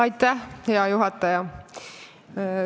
Aitäh, hea juhataja!